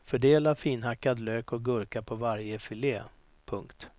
Fördela finhackad lök och gurka på varje filé. punkt